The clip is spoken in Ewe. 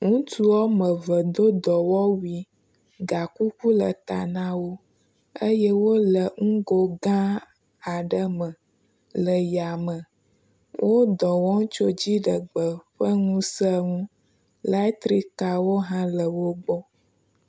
ŋutuwɔmeve do dɔwɔwui, gakuku le ta nawó eyɛ wóle ŋugo gãa aɖe me le yame, wó dɔwɔm tso dziɖegbe ƒe ŋuse ŋu, laetrikawó hã le wógbɔ